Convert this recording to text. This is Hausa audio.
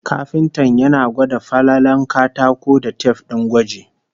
Kafintan yana gwada falalen katako da tif din gwaji